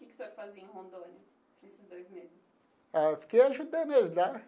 O que que o senhor fazia em Rondônia, nesses dois meses? Ah fiquei ajudando eles lá.